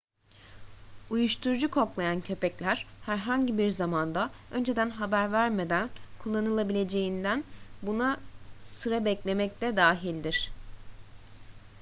uyuşturucu koklayan köpekler herhangi bir zamanda önceden haber vermeden kullanılabileceğinden buna sıra beklemek de dahildir